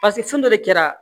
paseke fɛn dɔ de kɛra